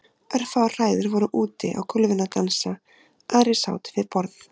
Örfáar hræður voru úti á gólfinu að dansa, aðrir sátu við borð.